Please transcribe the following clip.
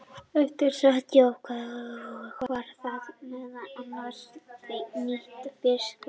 Eftir sat sjávarsalt og var það meðal annars nýtt við fisksöltun.